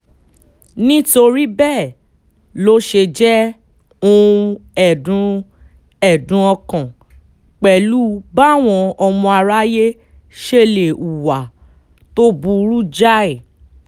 nítorí bẹ́ẹ̀ ló ṣe jẹ́ ohun ẹ̀dùn ẹ̀dùn ọkàn pẹ̀lú báwọn ọmọ aráyé ṣe lè hùwà tó burú jáì